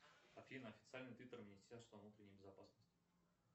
афина официальный твиттер министерства внутренней безопасности